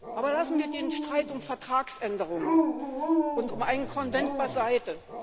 Aber lassen wir den Streit um Vertragsänderungen und um einen Konvent beiseite.